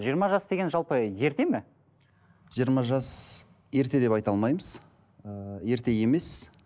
жиырма жас деген жалпы ерте ме жиырма жас ерте деп айта алмаймыз ыыы ерте емес